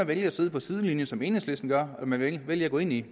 vælge at sidde på sidelinjen som enhedslisten gør eller man kan vælge at gå ind i